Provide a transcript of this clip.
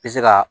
Be se ka